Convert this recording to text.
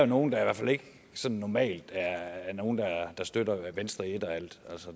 nogle der i hvert fald ikke sådan normalt støtter venstre i et og alt